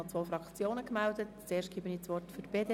Ich mache es sehr kurz.